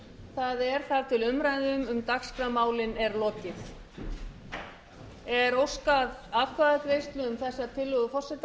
það er þar til umræðu um dagskrármálin er lokið um klukkan hálffjögur í dag fer fram umræða utan dagskrár